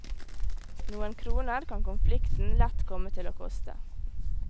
Noen kroner kan konflikten lett komme til å koste.